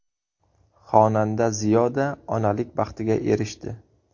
Xonanda Ziyoda onalik baxtiga erishdi.